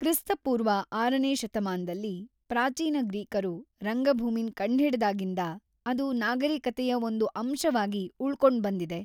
ಕ್ರಿ.ಪೂ. ೬ನೇ ಶತಮಾನ್ದಲ್ಲಿ, ಪ್ರಾಚೀನ ಗ್ರೀಕರು ರಂಗಭೂಮಿನ್ ಕಂಡ್‌ಹಿಡ್ದಾಗಿಂದ ಅದು ನಾಗರಿಕತೆಯ ಒಂದ್ ಅಂಶವಾಗಿ ಉಳ್ಕೊಂಡ್ಬಂದಿದೆ.